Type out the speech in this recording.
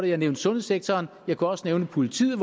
jeg nævnte sundhedssektoren og jeg kunne også nævne politiet